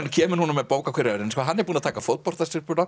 kemur núna með bók á hverju ári hann er búinn að taka